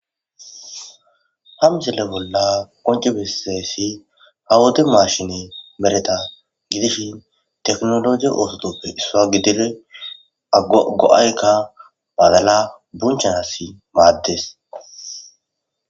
Ha misile bolla qomci bessizaysi ha wode mashine meteta hidishin tekinoloje osotappe issuwa gididi go'ayka badala bunchanasi maades